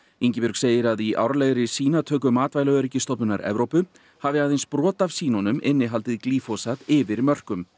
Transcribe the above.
Ingibjörg segir að í árlegri sýnatöku Matvælaöryggisstofnunar Evrópu hafi aðeins brot af sýnunum innihaldið glýfosat yfir mörkum